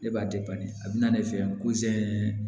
Ne b'a a bɛna ne fɛ yan